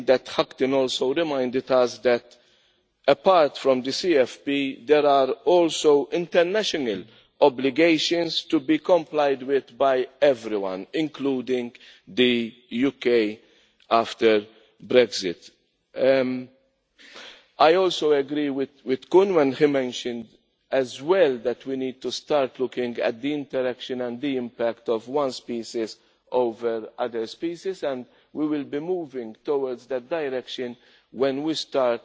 Hudghton also reminded us that apart from the CFP, there are also international obligations to be complied with by everyone, including the UK after Brexit. I also agree with Mr Kuhn when he mentioned as well that we need to start looking at the interaction and the impact of one species over other species and we will be moving in that direction when we start